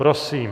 Prosím.